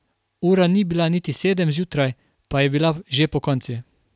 Ura ni bila niti sedem zjutraj, pa je bila že pokonci.